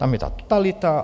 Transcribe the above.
Tam je ta totalita.